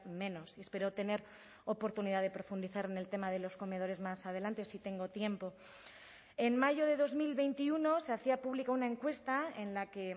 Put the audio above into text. menos y espero tener oportunidad de profundizar en el tema de los comedores más adelante si tengo tiempo en mayo de dos mil veintiuno se hacía pública una encuesta en la que